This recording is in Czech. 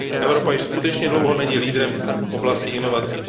Evropa již skutečně dlouho není leaderem v oblasti inovací.